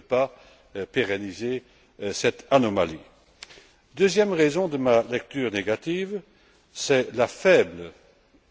On ne peut pas pérenniser cette anomalie. La deuxième raison de ma lecture négative, c'est la faible